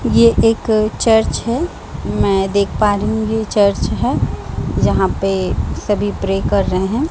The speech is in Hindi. ये एक चर्च है मैं देख पा रही हूं ये चर्च है जहाँ पे सभी प्रे कर रहे है।